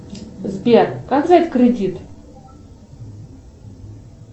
сбер как взять кредит